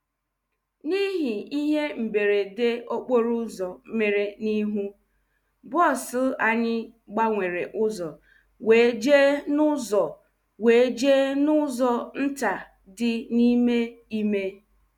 N’ihi ihe mberede okporo ụzo mere n’ihu, bọs anyị gbanwere ụzọ wee jee n’ụzọ wee jee n’ụzọ nta dị n’ime ime.